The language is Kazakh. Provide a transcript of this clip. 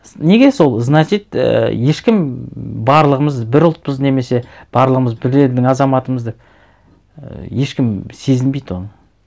неге сол значит ііі ешкім барлығымыз бір ұлтпыз немесе барлығымыз бір елдің азаматымыз деп і ешкім сезінбейді оны